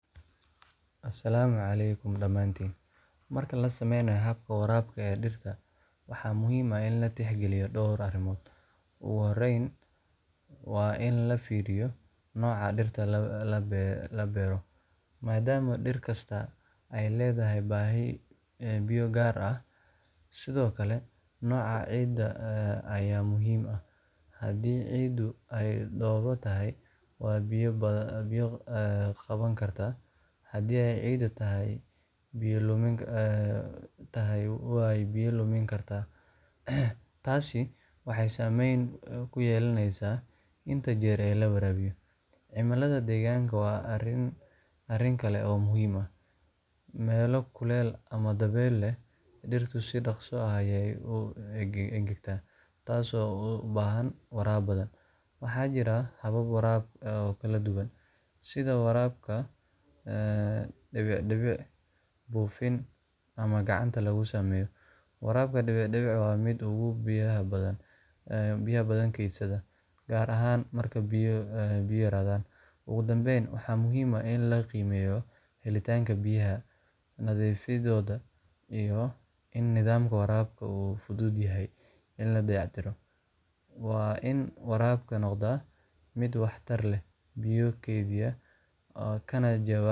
Asalaamu calaykum, dhamaantiin. Marka la samaynayo habka waraabka ee dhirta, waxaa muhiim ah in la tixgeliyo dhowr arrimood. Ugu horreyn waa in la fiiriyo nooca dhirta la beero, maadaama dhir kastaa ay leedahay baahi biyo gaar ah. Sidoo kale, nooca ciidda ayaa muhiim ah – haddii ciiddu ay dhoobo tahay way biyo qaban kartaa, haddii ay ciid tahayna way biyo lumin kartaa. Taasi waxay saameyn ku yeelanaysaa inta jeer ee la waraabayo. Cimillada deegaanka waa arrin kale oo muhiim ah. Meelo kulul ama dabaylo leh, dhirtu si dhakhso ah ayay u engegtaa, taasoo u baahan waraab badan. Waxaa jira habab waraab oo kala duwan sida waraabka dhibic-dhibic, buufin ama mid gacanta lagu sameeyo. Waraabka dhibic-dhibic waa midka ugu biyaha badan kaydsada, gaar ahaan marka biyo yaraadaan. Ugu dambeyn, waxaa muhiim ah in la qiimeeyo helitaanka biyaha, nadiifnimadooda, iyo in nidaamka waraabka uu fudud yahay in la dayactiro. Waa in waraabka noqdaa mid waxtar leh, biyo kaydiya, kana jawaaba